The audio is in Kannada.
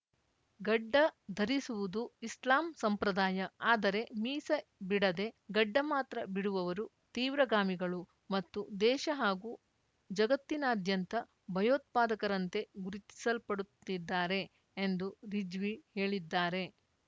ಗಡ್ಡ ಧರಿಸುವುದು ಇಸ್ಲಾಂ ಸಂಪ್ರದಾಯ ಆದರೆ ಮೀಸೆ ಬಿಡದೆ ಗಡ್ಡ ಮಾತ್ರ ಬಿಡುವವರು ತೀವ್ರಗಾಮಿಗಳು ಮತ್ತು ದೇಶ ಹಾಗೂ ಜಗತ್ತಿನಾದ್ಯಂತ ಭಯೋತ್ಪಾದಕರಂತೆ ಗುರುತಿಸಲ್ಪಡುತ್ತಿದ್ದಾರೆ ಎಂದು ರಿಜ್ವಿ ಹೇಳಿದ್ದಾರೆ